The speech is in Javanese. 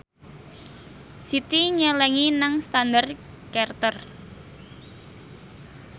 Siti nyelengi nang Standard Chartered